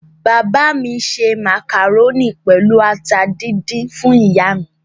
Bàbá mi se màkàrónì pẹ̀lú ata díndín fún ìyá mi.